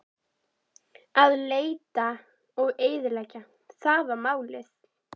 Að leita og eyðileggja: það var málið.